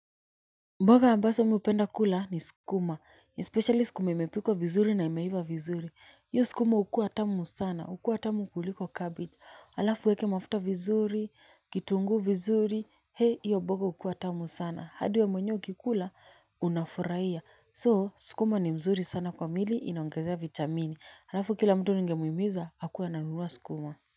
Mboga ambazo mi hupenda kula ni skuma, especially skuma imepikwa vizuri na imeiva vizuri, hiyo skuma hukua tamu sana, hukua tamu kuliko cabbage, halafu uweke mafuta vizuri, kitunguu vizuri, hei hiyo mboga hukua tamu sana, hadi we mwenyewe ukikula unafurahia. So skuma ni mzuri sana kwa mwili inaongezea vitamini, halafu kila mtu ningemuhimiza akuwe ananunua skuma.